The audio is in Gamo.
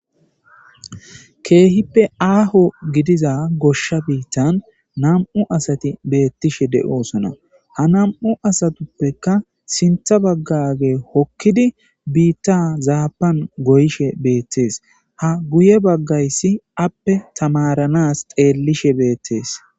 Keehippe aaho gidiza goshsh biittan nam7u asatibeetoosona. Hanm7u asatikka sintha bagga hokkidi biittazaappan goyishe deetes.h guyebaggayssi aappe tamaaranaas xellishe de7ees.